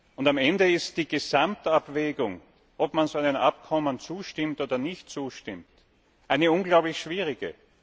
Und am Ende ist die Gesamtabwägung, ob man so einem Abkommen zustimmt oder nicht zustimmt, eine unglaublich schwierige.